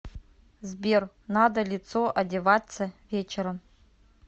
сбер надо лицо одеваться вечером